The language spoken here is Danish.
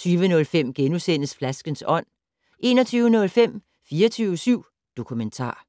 20:05: Flaskens ånd * 21:05: 24syv Dokumentar